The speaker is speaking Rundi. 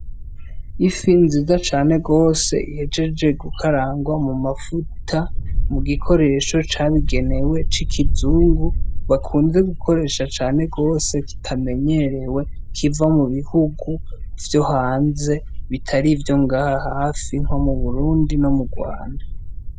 Ifi ziza cane gose igezehe gukaranga mu mavuta mugikoresho cabigenewe c'ikizungu bakunze gukoresha cane gose kitamenyerewe kiva mu bihungu vyo hanze atar ibi bihugu vyo ngaha hafi nko mu Burundi no mu Rwanda.